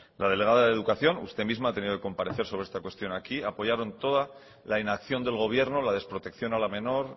la delegada de educación usted misma ha tenido que comparece sobre esta cuestión aquí apoyaron toda la inacción del gobierno la desprotección a la menor